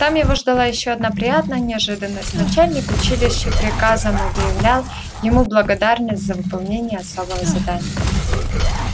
там его ждала ещё одна приятная неожиданность начальник училища приказом объявлял ему благодарность за выполнение особого задания